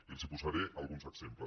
i els posaré alguns exemples